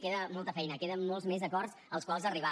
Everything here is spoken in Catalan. queda molta feina queden molts més acords als quals arribar